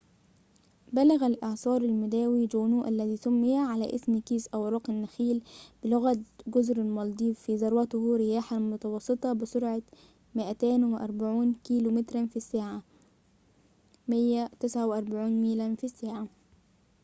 بلغ الإعصار المداري جونو - الذي سمي على اسم كيس أوراق النخيل بلغة جزر المالديف - في ذروته رياحاً متواصلة بسرعة 240 كيلومتراً في الساعة 149 ميلاً في الساعة